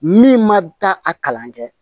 Min ma taa a kalan kɛ